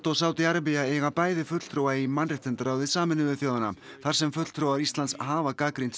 og Sádí Arabía eiga bæði fulltrúa í mannréttindaráði Sameinuðu þjóðanna þar sem fulltrúar Íslands hafa gagnrýnt